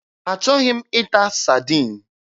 Achọghị m ịta Sadin.